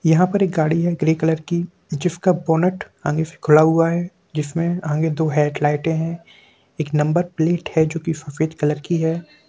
यहाँ पर एक गाड़ी है ग्रे कलर की जिसका बोनट आगे से खुला हुआ है जिसमें आगे दो हेडलाइटे है एक नंबर प्लेट है जो सफ़ेद कलर की है।